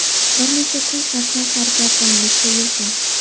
Bir necha kun sarson-sargardonlikda yurdim.